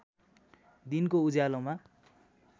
दिनको उज्यालोमा